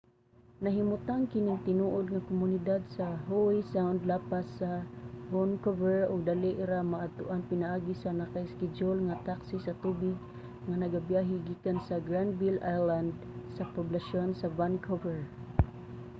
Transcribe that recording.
nahimutang kaning tinuod nga komunidad sa howe sound lapas lang sa vancouver ug dali ra maadtuan pinaagi sa naka-iskedyul nga taksi sa tubig nga nagabiyahe gikan sa granville island sa poblasyon sa vancouver